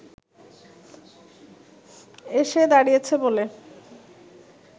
এসে দাঁড়িয়েছে বলে